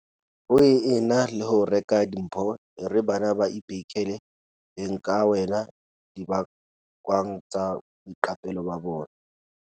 Ho e na le ho reka dimpho, e re bana ba beikhele beng ka wena dibakwang tsa boiqapelo ba bona.